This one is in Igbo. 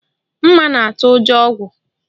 Mma na-atụ ụjọ ogwu